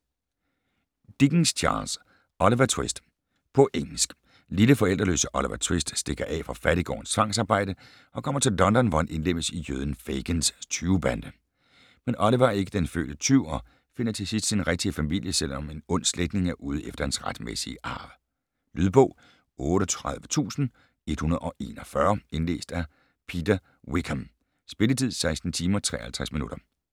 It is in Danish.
Dickens, Charles: Oliver Twist På engelsk. Lille, forældreløse Oliver Twist stikker af fra fattiggårdens tvangsarbejde og kommer til London, hvor han indlemmes i jøden Fagins tyvebande. Men Oliver er ikke den fødte tyv og finder til sidst sin rigtige familie, selv om en ond slægtning er ude efter hans retmæssige arv. Lydbog 38141 Indlæst af Peter Wickham Spilletid: 16 timer, 53 minutter